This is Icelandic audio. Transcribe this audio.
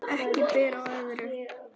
Ekki ber á öðru